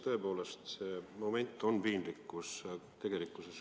Tõepoolest, see on piinlik.